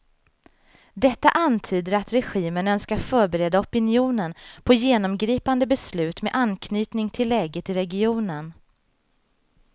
Detta antyder att regimen önskar förbereda opinionen på genomgripande beslut med anknytning till läget i regionen.